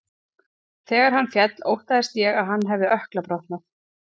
Þegar hann féll óttaðist ég að hann hafi ökkla brotnað.